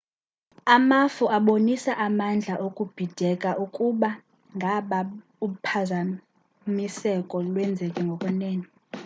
amafu abonisa amandla okubhideka ukuba ngaba uphazamiseko lwenzekile ngokwenene